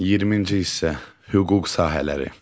20-ci hissə hüquq sahələri.